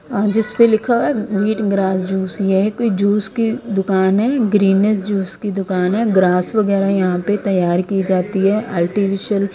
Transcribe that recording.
अह जिस पे लिखा हुआ है व्हीट ग्रास जूस यही कोई जूस की दुकान है ग्रीनस जूस की दुकान है ग्रास वगैरह यहां पे तैयार की जाती है आर्टिफिशियल --